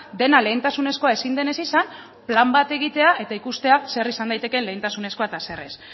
dena lehentasunezkoa ezin denez izan plan bat egitea eta ikustea zer izan daiteke lehentasunezkoa eta zer ez